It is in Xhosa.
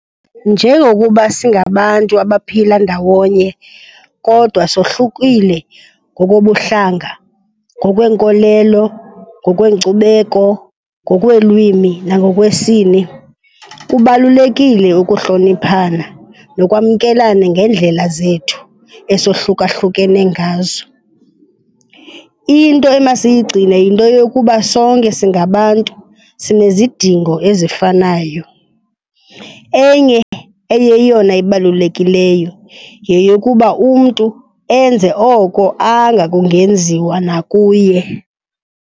Njengokuba singabantu abaphila ndawonye kodwa sohlukile ngokobuhlanga, ngokweenkolelo, ngokweenkcubeko, ngokweelwimi nangokwesini, kubalulekile ukuhloniphana nokwamkelana ngeendlela zethu esohlukahlukene ngazo. Into emasiyigcine yinto yokuba sonke singabantu, sinezidingo ezifanayo. Enye eyeyona ibalukelikeyo yeyokuba umntu enze oko kungenziwa nakuye.